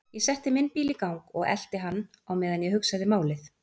Ég setti minn bíl í gang og elti hann á meðan ég hugsaði málið.